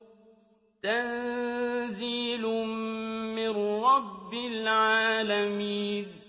تَنزِيلٌ مِّن رَّبِّ الْعَالَمِينَ